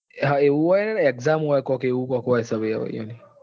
Exam હોય ને એવું કઈક હોય છે ભાઈ એમને.